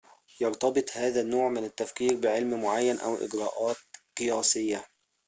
يَرتبط هذا النوع من التفكير بعلمٍ معين أو إجراءاتٍ قياسيةٍ